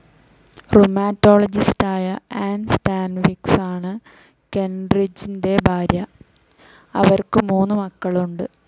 റുമാറ്റോളജിസ്റ്റായ Ann സ്റ്റാൻവിക്‌സാണ് കെൻറിഡ്ജിൻ്റെ ഭാര്യ. അവർക്കു മൂന്നു മക്കളുണ്ട്.